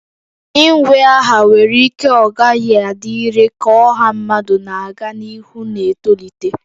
Inwe aha nwere ike ọ gaghị adị irè ka ọha mmadụ na-aga n'ihu na-etolite